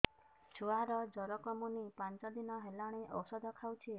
ଛୁଆ ଜର କମୁନି ପାଞ୍ଚ ଦିନ ହେଲାଣି ଔଷଧ ଖାଉଛି